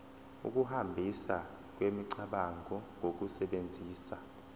ukuhambisana kwemicabango ngokusebenzisa